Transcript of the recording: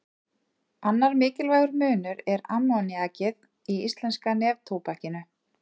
Annar mikilvægur munur er ammoníakið í íslenska neftóbakinu.